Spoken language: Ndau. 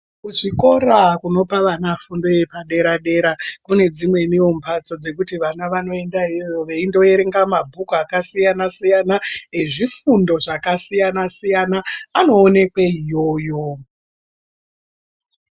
Kuzvikora kunopa vana fundo yepa dera dera kune dzimweniwo mbatso dzekuti vana vanoenda iyoyo veindo erenga ma bhuku aka siyana siyana ezvifundo zvaka siyana siyana anoonekwe iyoyo